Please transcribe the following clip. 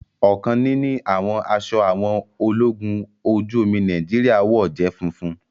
ọkan níní àwọn aṣọ àwọn ológun ojú omi Nàìjíríà wọ jé funfun.